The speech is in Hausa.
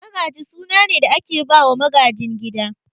Magaji suna ne da ake bawa magajin gida